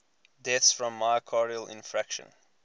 deaths from myocardial infarction